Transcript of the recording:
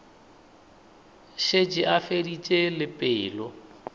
šetše a feditše le pelo